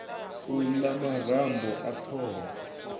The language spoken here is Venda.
u la marambo a thoho